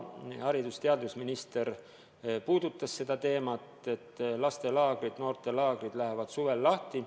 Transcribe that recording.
Haridus- ja teadusminister juba puudutas seda teemat, et lastelaagrid ja noortelaagrid lähevad suvel lahti.